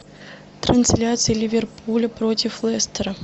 трансляция ливерпуля против лестера